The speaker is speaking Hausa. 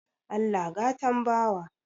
Allah gatan bawa